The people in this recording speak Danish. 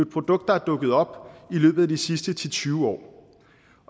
produkt der er dukket op i løbet af de sidste ti til tyve år